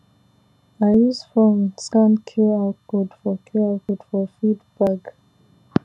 i use phone scan qr code for qr code for feed bag